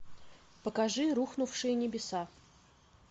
покажи рухнувшие небеса